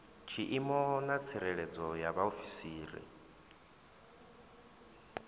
tshiimo na tsireledzo ya vhaofisiri